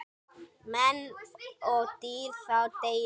Menn og dýr þá deyja.